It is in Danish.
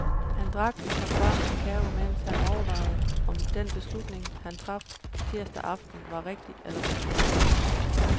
Han drak en kop varm kakao, mens han overvejede om den beslutning, han traf tirsdag aften, var rigtig eller forkert.